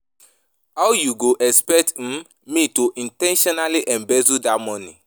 How you go expect um me to in ten tionally embezzle dat money